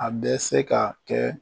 A bɛ se ka kɛ